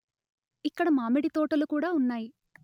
ఇక్కడ మామిడి తోటలు కూడా ఉన్నాయి